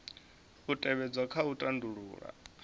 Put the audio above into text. u tevhedzwa kha u tandulula